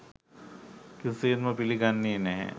කිසිසේත්ම පිළිගන්නේ නැහැ.